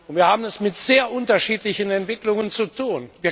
Wir haben es mit sehr unterschiedlichen Entwicklungen zu tun.